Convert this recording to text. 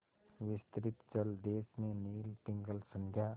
विस्तृत जलदेश में नील पिंगल संध्या